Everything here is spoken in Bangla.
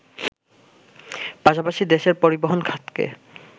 পাশাপাশি দেশের পরিবহন খাতকে